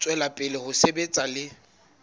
tswela pele ho sebetsa le